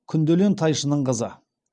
күнделен тайшының қызы